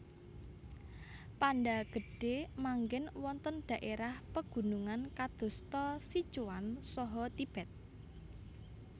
Panda Gedhe manggen wonten dhaérah pegunungan kadosta Sichuan saha Tibet